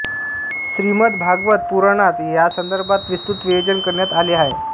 श्रीमद भागवत पुराणात यासंदर्भात विस्तृत विवेचन करण्यात आले आहे